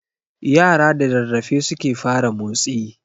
Yara da rarrafe suke fara motsi